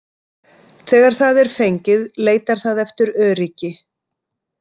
Þegar það er fengið leitar það eftir öryggi.